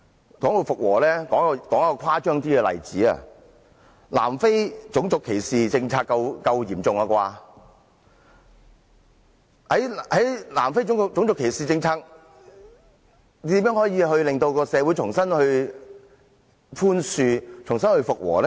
談到復和，我舉一個較為誇張的例子，南非種族歧視政策算得上很嚴重，在南非種族歧視政策下，如何令社會重新寬恕、重新復和呢？